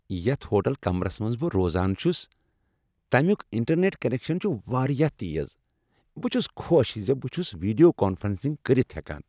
یتھ ہوٹل کمرس منٛز بہٕ روزان چُھس تَمِیُک انٹرنٮ۪ٹ کنیکشن چھ واریاہ تیز۔ بہٕ چُھس خوش ز بہٕ چُھس ویڈیو کانفرنسنگ کٔرتھ ہٮ۪کان ۔